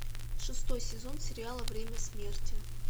шестой сезон сериала время смерти